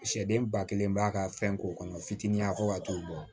Sɛden ba kelen b'a ka fɛn k'o kɔnɔ fitinin a ko ka t'o bɔ